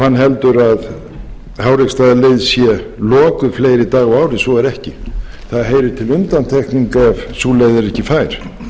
hann heldur að háreksstaðaleið sé lokuð fleiri daga á ári svo er ekki það heyrir til undantekninga ef sú leið er ekki fær